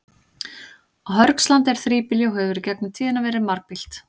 Á Hörgslandi er þríbýli og hefur í gegnum tíðina verið margbýlt.